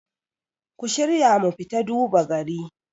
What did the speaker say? ku shirya mu fita duba gari